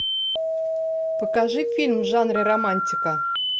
покажи фильм в жанре романтика